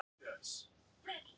Varað við ótryggum snjóalögum